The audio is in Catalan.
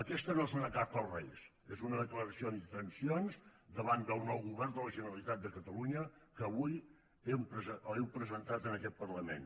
aquesta no és una carta als reis és una declaració d’intencions davant del nou govern de la generalitat de catalunya que avui heu presentat en aquest parlament